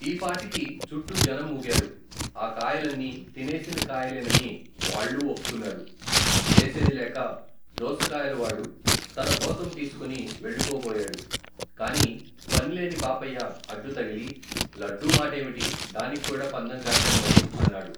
ఈపాటికి, చుట్టూ జనం మూగారు, ఆ కాయలన్నీ, తినేసిన కాయలేనని, వాళ్ళూ ఒప్పుకున్నారు, చేసేదిలేక, దోసకాయల వాడు, తన గోతం తీసుకుని వెళ్ళిపోబోయాడు, కాని, పనిలేని పాపయ్య, అడ్డు తగిలి, లడ్డూ మాటేమిటి, దానిక్కూడా పందెం కాశాను మరి, అన్నాడు.